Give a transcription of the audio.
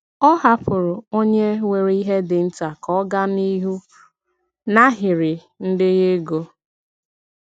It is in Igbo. Ọ hapụrụ onye nwere ihe dị nta ka ọ gaa n'ihu n'ahịrị ndenye ego.